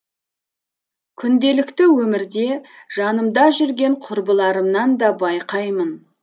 күнделікті өмірде жанымда жүрген құрбыларымнан да байқаймын